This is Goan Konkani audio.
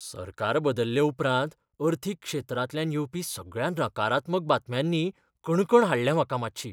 सरकार बदल्ले उपरांत अर्थीक क्षेत्रांतल्यान येवपी सगळ्या नकारात्मक बातम्यांनी कणकण हाडल्या म्हाका मातशी.